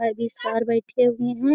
और भी सर बैठे हुए हैं।